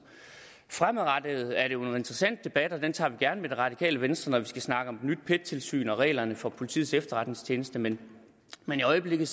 fremadrettet er det jo en interessant debat og den tager vi gerne med det radikale venstre når vi skal snakke om et nyt pet tilsyn og reglerne for politiets efterretningstjeneste men i øjeblikket